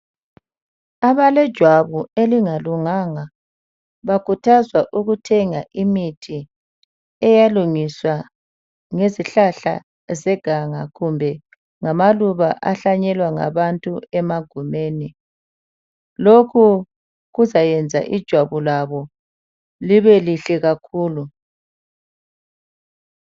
Abalejwabu elingalunganga, bakhuthazwa ukuthenga imithi eyalungiswa ngezihlahla zeganga kumbe ngamaluba ahlanyelwa ngabantu emagumeni. Lokhu kuzayenza ijwabu labo libelihle kakhulu.